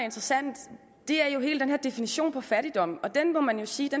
interessant er hele den her definition på fattigdom og den må man sige